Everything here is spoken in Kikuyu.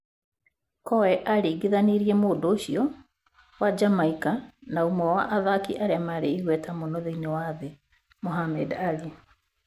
Coe aaringithanirie mũndũ ũcio wa Jamaica na ũmwe wa athaki arĩa marĩ igweta mũno thĩinĩ wa thĩ, Muhammad Ali.